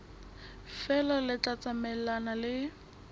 feela le tla tsamaelana le